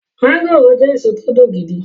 mọ́ngòròjẹ́ èso tó dùn gidi e